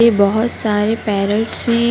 ये बहुत सारे पैरेट्स है।